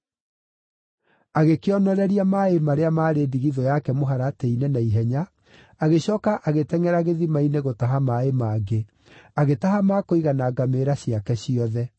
Agĩkĩonoreria maaĩ marĩa maarĩ ndigithũ yake mũharatĩ-inĩ na ihenya, agĩcooka agĩtengʼera gĩthima-inĩ gũtaha maaĩ mangĩ, agĩtaha ma kũigana ngamĩĩra ciake ciothe.